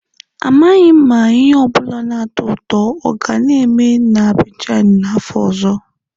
Amaghị m ma ihe ọ bụla na-atọ ụtọ oga-eme na Abidjan n'afọ ọzọ.